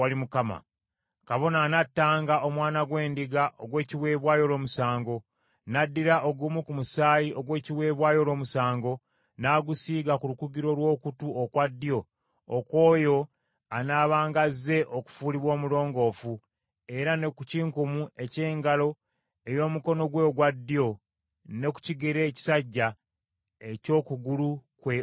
Kabona anattanga omwana gw’endiga ogw’ekiweebwayo olw’omusango; n’addira ogumu ku musaayi ogw’ekiweebwayo olw’omusango, n’agusiiga ku lukugiro lw’okutu okwa ddyo okw’oyo anaabanga azze okufuulibwa omulongoofu, era ne ku kinkumu eky’engalo ey’omukono gwe ogwa ddyo, ne ku kigere ekisajja eky’oku kugulu kwe okwa ddyo.